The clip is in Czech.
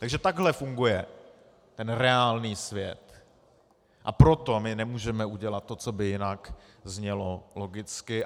Takže takhle funguje ten reálný svět, a proto my nemůžeme udělat to, co by jinak znělo logicky.